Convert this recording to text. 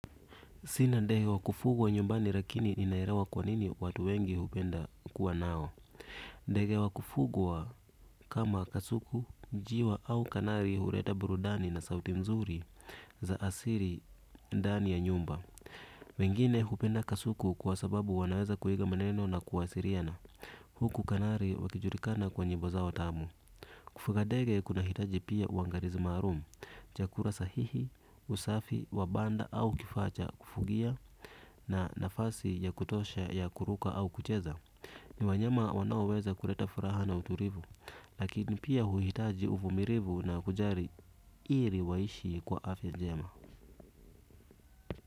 Sina ndege wa kufugwa nyumbani lakini ninaelewa kwa nini watu wengi hupenda kuwa nao. Ndege wa kufugwa kama kasuki. Wengine hupenda kasuku kwa sababu wanaweza kuiga maneno na kuwasiliana. Huku kanari wakijulikana kwa nyimbo zao tamu. Kufuga ndege kuna hitaji pia uangalizi maalum, chakula sahihi, usafi wa banda au kifaa cha kufugia na nafasi ya kutosha ya kuruka au kucheza. Ni wanyama wanaoweza kuleta furaha na utulivu lakini pia huhitaji uvumilivu na kujali ili waishi kwa afya njema.